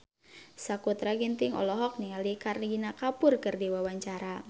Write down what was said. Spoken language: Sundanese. Sakutra Ginting olohok ningali Kareena Kapoor keur diwawancara